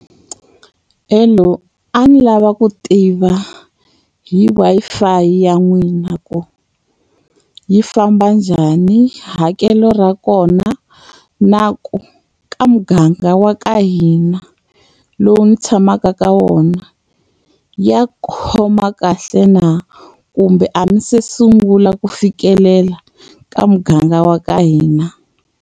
Hello, a ni lava ku tiva hi Wi-Fi ya n'wina ku yi famba njhani? Hakelo ra kona, na ku ka muganga wa ka hina lowu ndzi tshamaka ka wona ya khoma kahle na? Kumbe a mi se sungula ku fikelela ka muganga wa ka hina?